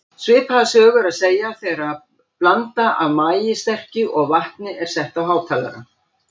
Svipaða sögu er að segja þegar blanda af maíssterkju og vatni er sett á hátalara.